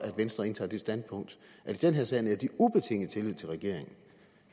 venstre indtager det standpunkt at i den her sag nærer de ubetinget tillid til regeringen